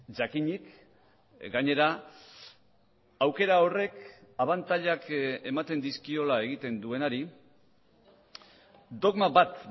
jakinik gainera aukera horrek abantailak ematen dizkiola egiten duenari dogma bat